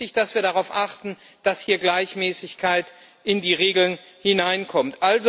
Es ist wichtig, dass wir darauf achten, dass hier Gleichmäßigkeit in die Regeln hineinkommt.